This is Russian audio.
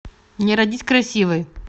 не родись красивой